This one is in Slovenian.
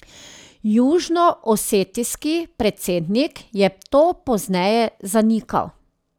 Južnoosetijski predsednik je to pozneje zanikal.